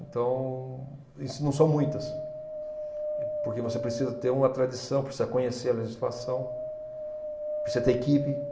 Então, em si não são muitas, porque você precisa ter uma tradição, precisa conhecer a legislação, precisa ter equipe,